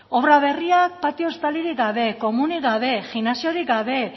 obra berriak patio estalirik gabe komunik gabe gimnasiorik gabe